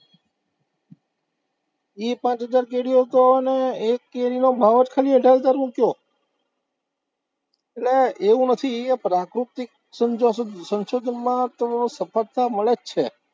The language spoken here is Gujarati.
ઈ પાંચ હજાર કેરીઓ તો, અને એક કેરીનો ભાવ જ ખાલી અઢાર હજારનો કયો, એટલે એવું નથી, પ્રાકૃતિક સંશોધનમાં તો સફળતા મળે જ છે.